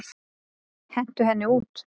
Hentu henni út!